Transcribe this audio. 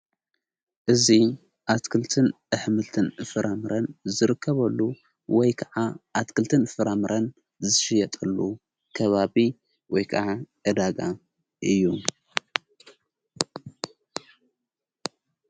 እዙ ኣትክልትን ኣሕምልትን ፍራምረን ዝርከበሉ ወይ ከዓ ኣትክልትን ፍራምረን ዝሽየጠሉ ከባቢ ወይ ከዓ እዳጋ እዩ።